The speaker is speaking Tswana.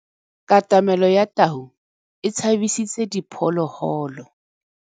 Katamêlô ya tau e tshabisitse diphôlôgôlô.